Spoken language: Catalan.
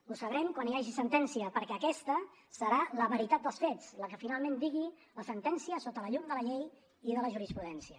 ho sabrem quan hi hagi sentència perquè aquesta serà la veritat dels fets la que finalment digui la sentència sota la llum de la llei i de la jurisprudència